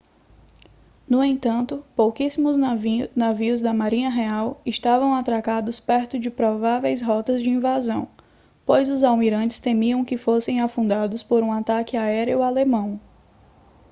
no entanto pouquíssimos navios da marinha real estavam atracados perto das prováveis rotas de invasão pois os almirantes temiam que fossem afundados por um ataque aéreo alemão